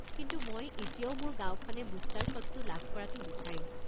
কিন্তু মই এতিয়াও মোৰ গাঁওখনে বুষ্টাৰ শ্বটটো লাভ কৰাটো বিচাৰিম।